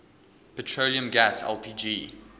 petroleum gas lpg